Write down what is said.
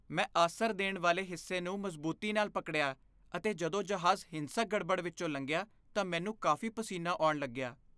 ਮੈਂ ਆਸਰ ਦੇਣ ਵਾਲੇ ਹਿੱਸੇ ਨੂੰ ਮਜ਼ਬੂਤੀ ਨਾਲ ਪਕੜਿਆ ਅਤੇ ਜਦੋਂ ਜਹਾਜ਼ ਹਿੰਸਕ ਗੜਬੜ ਵਿੱਚੋਂ ਲੰਘਿਆ ਤਾਂ ਮੈਨੂੰ ਕਾਫ਼ੀ ਪਸੀਨਾ ਆਉਣ ਲੱਗਿਆ।